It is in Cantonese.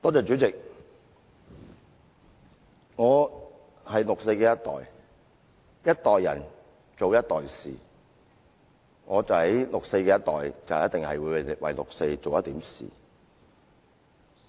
主席，一代人做一代事，我是六四的一代，一定會為六四事件做一點事。